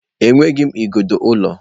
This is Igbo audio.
Enweghị m igodo ụlọ.